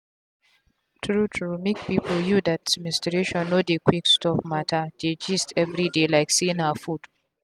true truemake people you that menstruation no dey quick stop matter dey gist everyday like say na food.